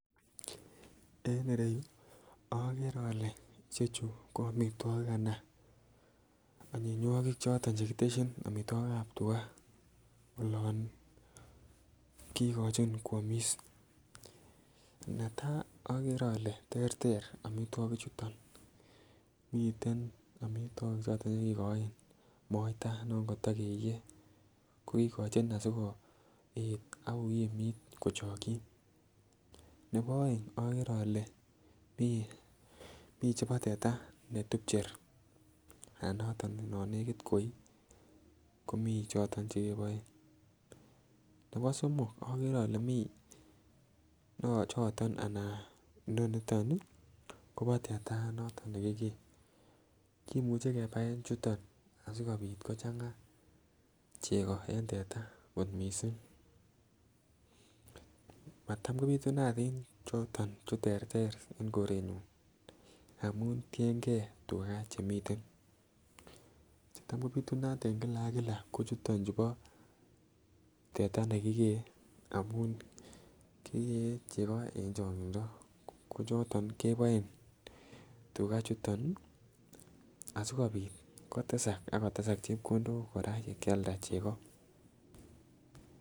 En ireyu ogere ole omitwokik anan anyinywokik che kityesin omitwokik choton chebo tua olon kogochin kwomis. Netaa ogere ole terter omitwoki chuton, miten omitwokik choton che kigoin moita ne koto keiye ko kogochin asi koet ak kokimit kochokyi nebo oeng ogere ole miten choton che teta be tupcher anan ne nekit koii komii choton che keboen nebo somok ogere ole mii choton ana inoniton ii koboo teta noton ne kigee kimuche kebaen chuton asikopit kochanga chego en teta ko missing. Matam ko pitunatin tuguchuton chu terter en korenyun amun tiengee tuga che tam komiten. Che tam kopitunat en Kila ak Kila ko chuton chubo teta ne kigee amun kigee chego en chogindo ko choton keboen tuga chuton asikopit kotesak ak kotesak chepkondok koraa yegkyanda chego